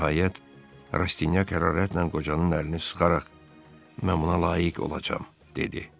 Nəhayət, Rastiak hərarətlə qocanın əlini sıxaraq mən buna layiq olacam, dedi.